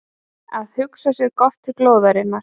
Að hugsa sér gott til glóðarinnar